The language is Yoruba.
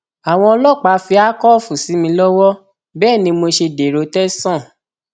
àwọn ọlọpàá fi akọọfù sí mi lọwọ bẹẹ ni mo ṣe dèrò tẹsán